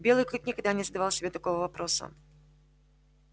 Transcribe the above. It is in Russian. белый клык никогда не задавал себе такого вопроса